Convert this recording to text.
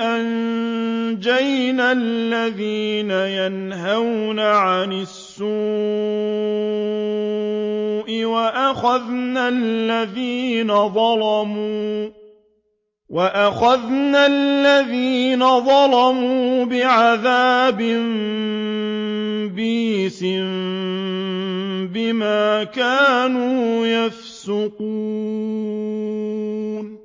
أَنجَيْنَا الَّذِينَ يَنْهَوْنَ عَنِ السُّوءِ وَأَخَذْنَا الَّذِينَ ظَلَمُوا بِعَذَابٍ بَئِيسٍ بِمَا كَانُوا يَفْسُقُونَ